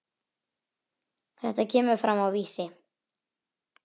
Þetta kemur fram á Vísi.